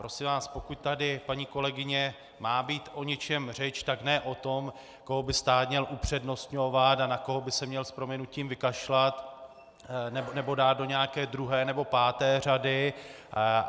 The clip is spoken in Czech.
Prosím vás, pokud tady, paní kolegyně, má být o něčem řeč, tak ne o tom, koho by stát měl upřednostňovat a na koho by se měl s prominutím vykašlat nebo dát do nějaké druhé nebo páté řady.